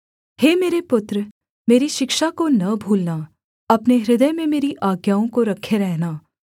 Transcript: हे मेरे पुत्र मेरी शिक्षा को न भूलना अपने हृदय में मेरी आज्ञाओं को रखे रहना